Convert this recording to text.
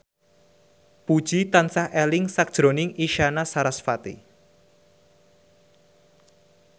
Puji tansah eling sakjroning Isyana Sarasvati